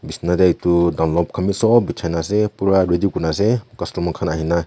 bisna de etu dunlop khan b sob bhijai gina ase pura ready kuri na ase customer khan ahi na--